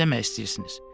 Siz nə demək istəyirsiniz?